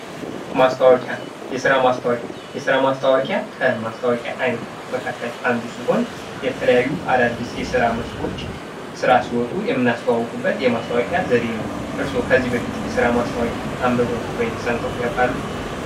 ማስታወቂያ ። የስራ ማስታወቂያ ፡የስራ ማስታወቂያ ከማስታወቂያ አይነቶች መካከል አንዱ ሲሆን የተለያዩ አዳዲስ የስራ መስኮች ስራ ሲወጡ የምናስተዋውቅበት የማስታወቂያ ዘዴ ነው ። እርሶ ከዚህ በፊት የስራ ማስታወቂያ አንብበው ወይም ሰምተው ያውቃሉ?